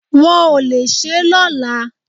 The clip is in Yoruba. Wọ́n ò le ṣé lọ́la